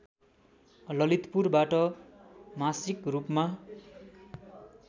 ललितपुरबाट मासिक रूपमा